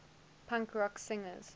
punk rock singers